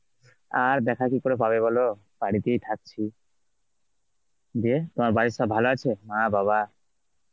আর দেখা কি করে পাবে বল বাড়িতেই থাকছি. দিয়ে, তোমার বাড়ির সব ভালো আছে, মা, বাবা?